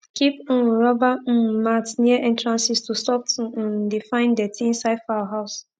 keep um rubber um mats near entrances to stop to um de find dirty inside fowl house